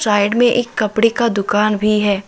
Side में एक कपड़े का दुकान भी है।